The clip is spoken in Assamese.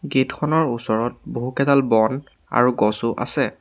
গেট খনৰ ওচৰত বহুকেইডাল বন আৰু গছো আছে।